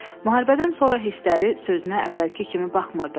Müharibədən sonra hissləri sözünə əvvəlki kimi baxmırdı.